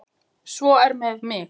Svo er með mig.